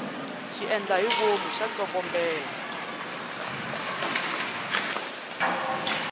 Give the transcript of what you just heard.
xiendlahivomu xa tsokombela